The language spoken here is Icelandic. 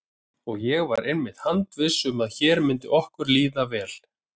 Og ég var einmitt handviss um að hér myndi okkur líða vel.